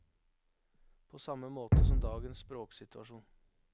På samme måte som dagens språksituasjon.